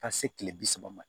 Ka se kile bi saba ma